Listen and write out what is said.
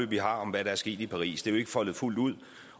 vi har om hvad der er sket i paris det er jo ikke foldet fuldt ud